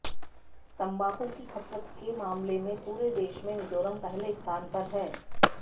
तंबाकू की खपत के मामले में पूरे देश में मिजोरम पहले स्थान पर है